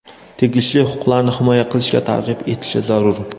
tegishli huquqlarni himoya qilishga targ‘ib etishi zarur);.